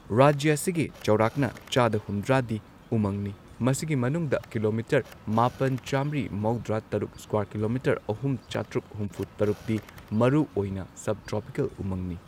ꯔꯥꯖ꯭ꯌ ꯑꯁꯤꯒꯤ ꯆꯥꯎꯔꯥꯛꯅ ꯆꯥꯗ ꯍꯨꯝꯗ꯭ꯔꯥꯗꯤ ꯎꯃꯪꯅꯤ, ꯃꯁꯤꯒꯤ ꯃꯅꯨꯡꯗ ꯀꯤꯂꯣꯃꯤꯇꯔ ꯃꯥꯄꯟ, ꯆꯥꯝꯃ꯭ꯔꯤ ꯃꯧꯗ꯭ꯔꯥ ꯇꯔꯨꯛ ꯁ꯭ꯀ꯭ꯋꯥꯔ ꯀꯤꯂꯣꯃꯤꯇꯔ ꯑꯍꯨꯝ, ꯆꯥꯇ꯭ꯔꯨꯛ ꯍꯨꯝꯐꯨ ꯇꯔꯨꯛꯗꯤ ꯃꯔꯨ ꯑꯣꯏꯅ ꯁꯕ ꯇ꯭ꯔꯣꯄꯤꯀꯦꯜ ꯎꯃꯪꯅꯤ꯫